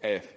af